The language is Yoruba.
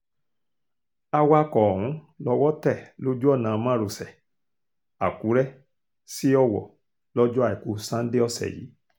awakọ̀ ọ̀hún lọ́wọ́ tẹ̀ lójú ọ̀nà márosẹ̀ àkùrẹ́ sí ọwọ́ lọ́jọ́ àìkú sanńdé ọ̀sẹ̀ yìí